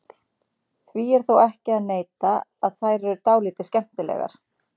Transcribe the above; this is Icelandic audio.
Því er þó ekki að neita að þær eru dálítið skemmtilegar.